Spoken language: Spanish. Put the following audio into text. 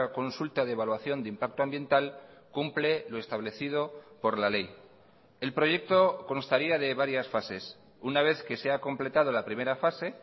consulta de evaluación de impacto ambiental cumple lo establecido por la ley el proyecto constaría de varias fases una vez que se ha completado la primera fase